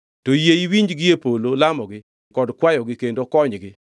to yie iwinji gie polo lamogi kod kwayogi kendo konygi.